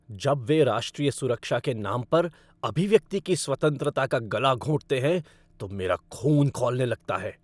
जब वे राष्ट्रीय सुरक्षा के नाम पर अभिव्यक्ति की स्वतंत्रता का गला घोंटते हैं तो मेरा खून खौलने लगता है।